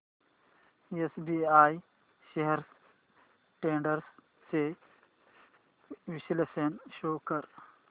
SBI shares trends चे विश्लेषण show कर